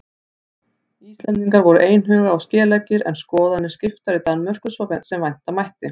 Íslendingar voru einhuga og skeleggir en skoðanir skiptar í Danmörku svo sem vænta mátti.